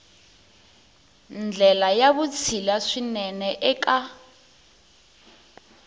ndlela ya vutshila swinene eka